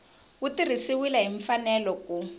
wu tirhisiwile hi mfanelo ku